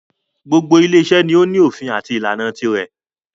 Gbogbo ile iṣẹ́ ni o ní òfin àti ìlànà tirẹ̀.